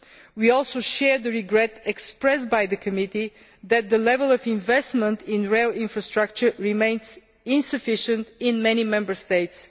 We also share the regret expressed by the committee that the level of investment in rail infrastructure remains insufficient in many Member States.